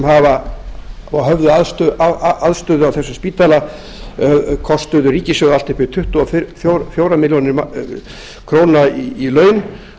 hafa og höfðu aðstöðu á þessum spítala kostuðu ríkissjóð allt upp í tuttugu og fjórar milljónir króna í laun